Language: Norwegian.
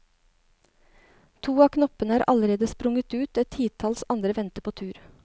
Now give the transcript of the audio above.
To av knoppene er allerede sprunget ut, et titalls andre venter på tur.